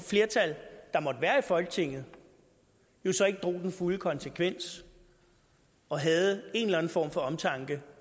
flertal der måtte være i folketinget så ikke drog den fulde konsekvens og havde en eller anden form for omtanke